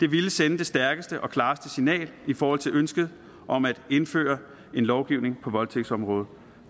ville sende det stærkeste og klareste signal i forhold til ønsket om at indføre en lovgivning på voldtægtsområdet